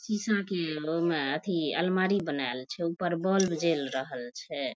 सीसा के उमे अथी अलमारी बनाये छे ऊपर बल्ब जेल रहल छे।